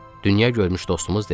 Dünya görmüş dostumuz dedi.